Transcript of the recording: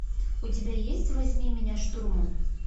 у тебя есть возьми меня штурмом